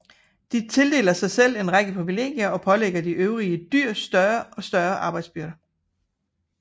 De tildeler sig selv en række privilegier og pålægger de øvrige dyr større og større arbejdsbyrder